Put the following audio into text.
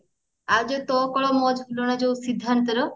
ଆଉ ଯାଉ ତୋ କୋଳ ମୋ ଝୁଲଣା ଯୋଉ ସିଦ୍ଧାନ୍ତ ର